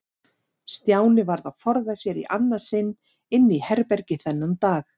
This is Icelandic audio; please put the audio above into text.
Stjáni varð að forða sér í annað sinn inn í herbergi þennan dag.